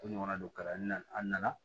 Ko ɲɔgɔnna don kalan na an nana